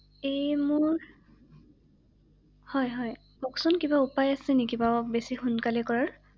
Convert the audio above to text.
এই মোৰ, হয় হয় কওঁকচোন কিবা উপায় আছে নেকি বাৰু বেছি সোনকালে কৰাৰ ৷